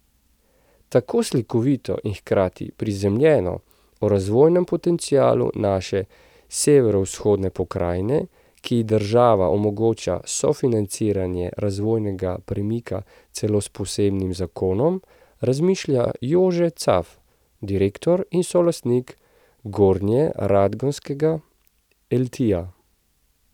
Tako slikovito in hkrati prizemljeno o razvojnem potencialu naše severovzhodne pokrajine, ki ji država omogoča sofinanciranje razvojnega premika celo s posebnim zakonom, razmišlja Jože Caf, direktor in solastnik gornjeradgonskega Eltija.